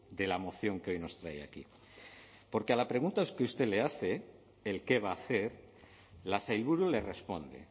de la moción que hoy nos trae aquí porque a la pregunta que usted le hace el qué va a hacer la sailburu le responde